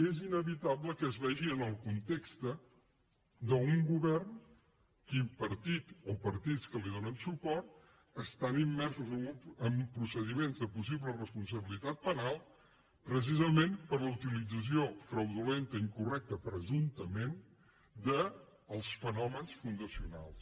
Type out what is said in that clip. és inevitable que es vegi en el context d’un govern que el partit o partits que li do·nen suport estan immersos en procediments de possi·ble responsabilitat penal precisament per la utilització fraudulenta i incorrecta presumptament dels fenò·mens fundacionals